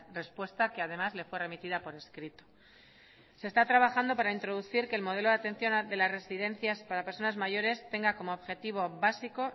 respuesta que además le fue remitida por escrito se está trabajando para introducir que el modelo de atención de las residencias para personas mayores tenga como objetivo básico